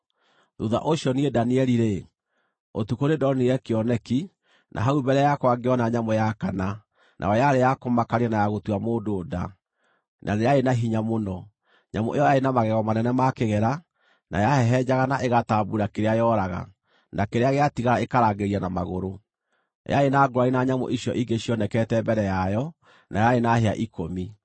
“Thuutha ũcio niĩ Danieli-rĩ, ũtukũ nĩndonire kĩoneki, na hau mbere yakwa ngĩona nyamũ ya kana, nayo yarĩ ya kũmakania na ya gũtua mũndũ nda, na nĩ yarĩ na hinya mũno. Nyamũ ĩyo yarĩ na magego manene ma kĩgera; na yahehenjaga na ĩgatambuura kĩrĩa yooraga, na kĩrĩa gĩatigara ĩkarangĩrĩria na magũrũ. Yarĩ na ngũũrani na nyamũ icio ingĩ cionekete mbere yayo, na yarĩ na hĩa ikũmi.